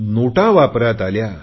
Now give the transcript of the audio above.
नोटा वापरात आल्या